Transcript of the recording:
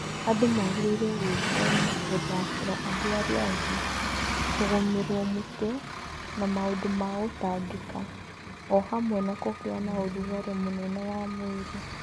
Andũ magĩrĩirũo gwĩthema gũthakĩra andũ arĩa angĩ, kũgũmĩrũo mũtwe, na maũndũ ma gũtangĩka (o hamwe na kũgĩa na ũrugarĩ mũnene wa mwĩrĩ).